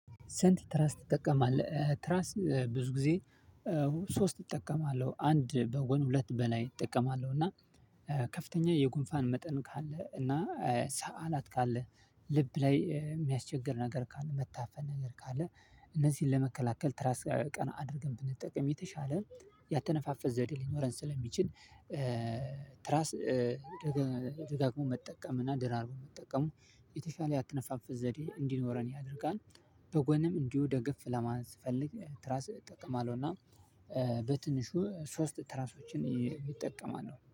ሰንት ትራስ ትጠቀማለህ ትራስ ብዙ ጊዜ። ሶስት እጠቀማለሁ አንድ በጎን ሁለት በላይ እጠቀማለሁ እና ከፍተኛ የጉንፋን መጠን ካለ እና ሰአላት ካለ ልብ ላይ የሚያስቸግር ነገር ካለ መታፈን ነገር ካለ እነዚህን ለመከላከል ትራስ ቀና አድርገን ብንጠቅም የተሻለ ያተነፋፈስ ዘዴ ሊኖረን ስለሚችል። ትራስ ደጋግሞ መጠቀም እና ደራርቦ መጠቀም የተሻለ ያተነፋፈስ ዘዴ እንዲኖረን ያደርጋል። በጎንም እንዲሁ ደገፍ ለማለት ለማስፈልግ ትራስ እጠቀማለሁና። በትንሹ ሶስት ትራሶችን ይጠቀማሉ